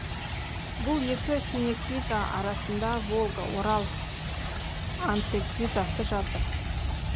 бұл екі синеклиза арасында волга орал антеклизасы жатыр